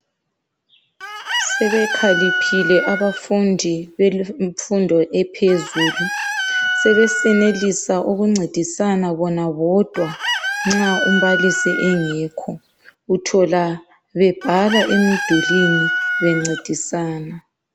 Sebekhaliphile abafundi bemfundo ephezulu .Sebesenelisa ukuncedisana bona bodwa nxa umbalisi engekho. Uthola bebhala emdulwini bencedisana.